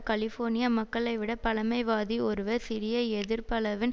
California மக்களைவிட பழமைவாதி ஒருவர் சிறிய எதிர்ப்பளவின்